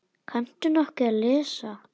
Kanntu nokkuð að lesa?